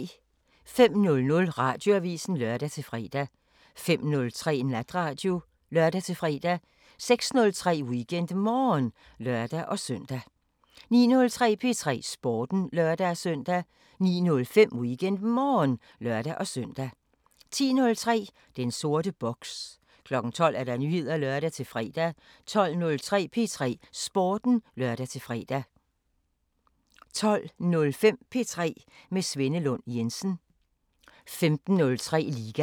05:00: Radioavisen (lør-fre) 05:03: Natradio (lør-fre) 06:03: WeekendMorgen (lør-søn) 09:03: P3 Sporten (lør-søn) 09:05: WeekendMorgen (lør-søn) 10:03: Den sorte boks 12:00: Nyheder (lør-fre) 12:03: P3 Sporten (lør-fre) 12:05: P3 med Svenne Lund Jensen 15:03: Liga